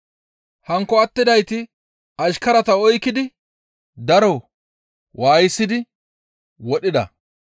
Hankko attidayta ashkarati oykkidi daro waayisidi wodhida.